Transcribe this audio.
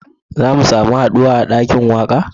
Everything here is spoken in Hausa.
Za mu samu haduwa a dakin waka?